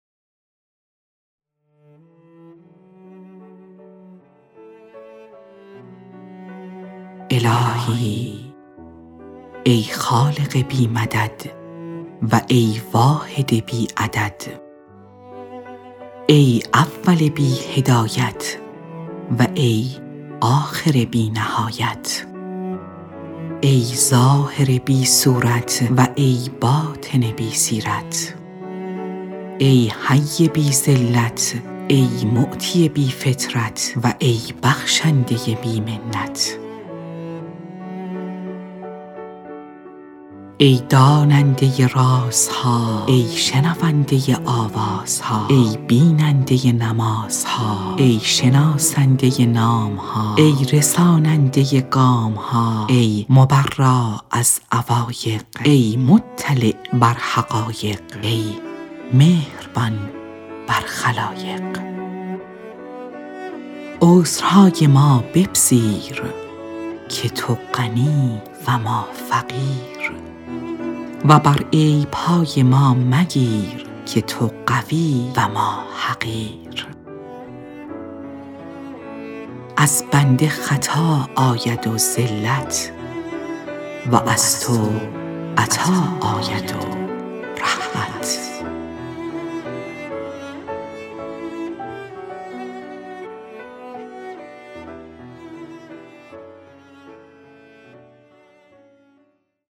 الهی ای خالق بی مدد و ای واحد بی عدد ای اول بی هدایت و ای آخر بی نهایت ای ظاهر بی صورت و ای باطن بی سیرت ای حی بی ذلت ای معطی بی فطرت و ای بخشنده بی منت ای داننده رازها ای شنونده آوازها ای بیننده نمازها ای شناسنده نام ها ای رساننده گام ها ای مبرا از عوایق ای مطلع بر حقایق ای مهربان بر خلایق عذرهای ما بپذیر که تو غنی و ما فقیر و بر عیب های ما مگیر که تو قوی و ما حقیر از بنده خطا آید و زلت و از تو عطا آید و رحمت